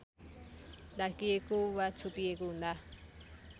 ढाकिएको वा छोपिएको हुँदा